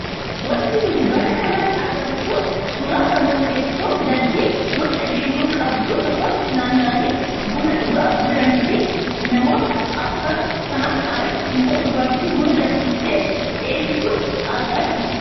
Wanti nuti bakka kanatti agarru kun suuraa namoota teessoo dalgee boca geengoo qabdu tokkotti naanna'anii buna dhugaa jiranii fi namoota arfan sanaan alatti immoo dubartii buna danfistee dhiyeessitu argaa jirra.